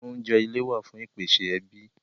Oúnjẹ ilé wá fún ìpèsè ẹbí